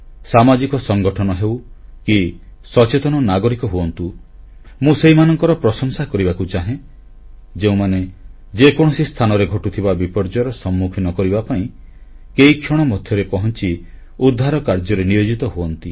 ସାମାଜିକ ସଂଗଠନ ହେଉ କି ସଚେତନ ନାଗରିକ ହୁଅନ୍ତୁ ମୁଁ ସେହିମାନଙ୍କର ପ୍ରଶଂସା କରିବାକୁ ଚାହେଁ ଯେଉଁମାନେ ଯେକୌଣସି ସ୍ଥାନରେ ଘଟୁଥିବା ବିପର୍ଯ୍ୟୟର ସମ୍ମୁଖୀନ କରିବା ପାଇଁ କେଇକ୍ଷଣ ମଧ୍ୟରେ ପହଂଚି ଉଦ୍ଧାର କାର୍ଯ୍ୟରେ ନିୟୋଜିତ ହୁଅନ୍ତି